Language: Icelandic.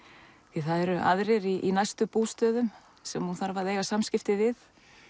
því það eru aðrir í næstu bústöðum sem hún þarf að eiga samskipti við